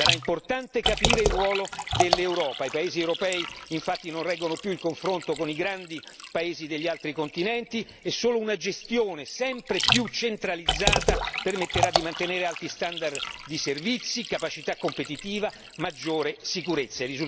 Sarà importante capire il ruolo dell'Europa, i paesi europei infatti non reggono più il confronto con i grandi paesi degli altri continenti e solo una gestione sempre più centralizzata permetterà di mantenere alti standard di servizi, capacità competitiva, maggiore sicurezza.